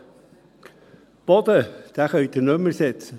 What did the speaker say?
Den Boden kann man nicht mehr ersetzen.